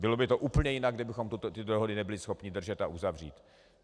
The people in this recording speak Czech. Bylo by to úplně jinak, kdybychom tyto dohody nebyli schopni držet a uzavřít.